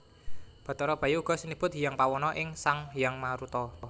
Bathara Bayu uga sinebut Hyang Pawana iya Sang Hyang Maruta